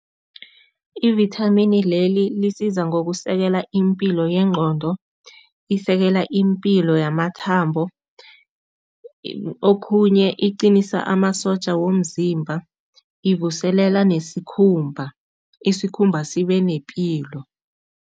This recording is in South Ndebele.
Ivithamini leli lisiza ngokusekela impilo yengqondo, isekela impilo yamathambo, okhunye iqinisa amasotja womzimba, ivuselela nesikhumba, isikhumba sibe nepilo.